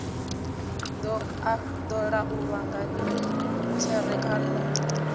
do laulwa nga uri tserekano